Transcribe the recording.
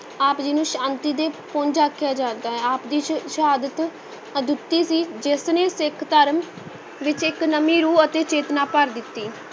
ਆਪ ਜੀ ਨੂੰ ਸ਼ਾਂਤੀ ਦੇ ਪੁੰਜ ਆਖਿਆ ਜਾਂਦਾ ਹੈ, ਆਪ ਦੀ ਸ਼~ ਸ਼ਹਾਦਤ ਅਦੁੱਤੀ ਸੀ ਜਿਸ ਨੇ ਸਿੱਖ ਧਰਮ ਵਿੱਚ ਇਕ ਨਵੀਂ ਰੂਹ ਅਤੇ ਚੇਤਨਾ ਭਰ ਦਿੱਤੀ।